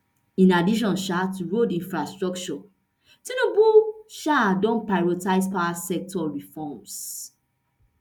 in addition um to road infrastructure tinubu um don prioritise power sector reforms